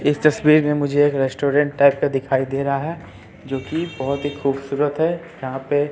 इस तस्वीर में मुझे एक रेस्टोरेंट टाइप का दिखाई दे रहा है जो की बहोत ही खूबसूरत है यहां पे--